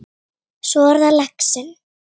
Svo er það laxinn.